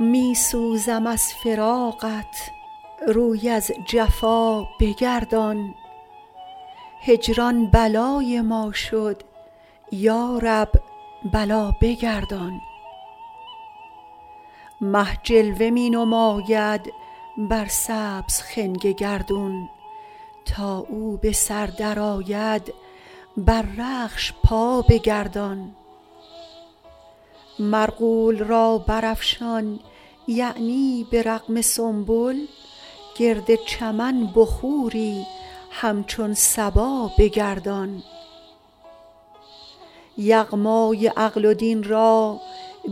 می سوزم از فراقت روی از جفا بگردان هجران بلای ما شد یا رب بلا بگردان مه جلوه می نماید بر سبز خنگ گردون تا او به سر درآید بر رخش پا بگردان مرغول را برافشان یعنی به رغم سنبل گرد چمن بخوری همچون صبا بگردان یغمای عقل و دین را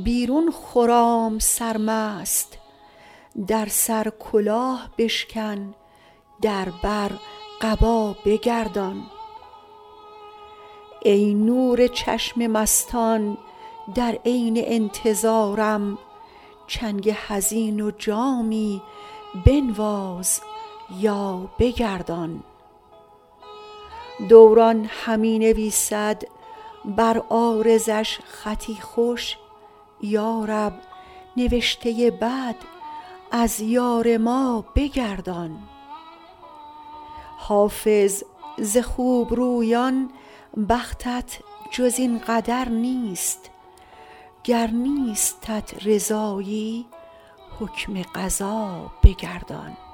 بیرون خرام سرمست در سر کلاه بشکن در بر قبا بگردان ای نور چشم مستان در عین انتظارم چنگ حزین و جامی بنواز یا بگردان دوران همی نویسد بر عارضش خطی خوش یا رب نوشته بد از یار ما بگردان حافظ ز خوبرویان بختت جز این قدر نیست گر نیستت رضایی حکم قضا بگردان